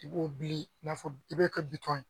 I b'o bili i n'a fɔ, i b'o kɛ bitɔn ye.